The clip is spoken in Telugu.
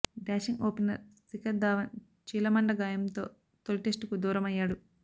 డాషింగ్ ఓపెనర్ శిఖర్ ధావన్ చీలమండ గాయంతో తొలి టెస్టుకు దూరమయ్యాడు